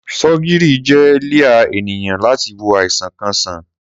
Sọgírì jẹ líà ẹniyan làtí wó àisán kàn sán.